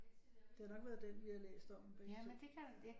Det har nok været den vi har læst om begge to